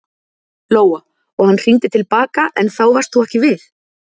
Lóa: Og hann hringdi til baka en þá varst þú ekki við?